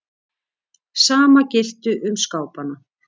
Sama gilti um skápana.